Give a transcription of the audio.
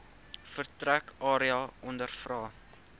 vertrek area ondervra